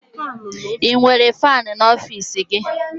Ị nwere faanị n'ọfiisi gị?